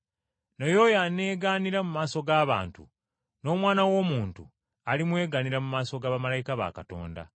Naye oyo anneegaanira mu maaso g’abantu, n’Omwana w’Omuntu alimwegaanira mu maaso ga bamalayika ba Katonda.